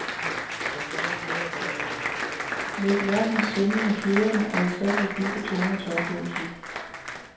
Læg lærkens svimlende kvidren og ufatteligt dybe toner til oplevelsen.